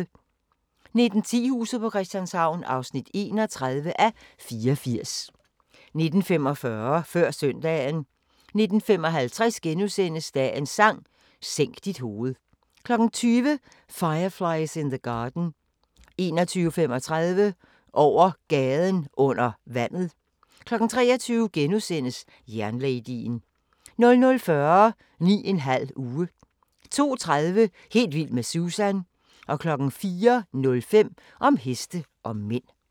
19:10: Huset på Christianshavn (31:84) 19:45: Før søndagen 19:55: Dagens Sang: Sænk dit hoved * 20:00: Fireflies in the Garden 21:35: Over Gaden Under Vandet 23:00: Jernladyen * 00:40: 9½ uge 02:30: Helt vild med Susan 04:05: Om heste og mænd